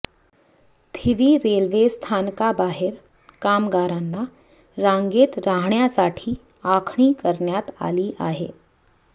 थिवी रेल्वेस्थानका बाहेर कामगारांना रांगेत राहण्यासाठी आखणी करण्यात आली आहे